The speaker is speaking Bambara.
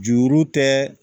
Juru tɛ